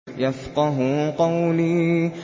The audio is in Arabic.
يَفْقَهُوا قَوْلِي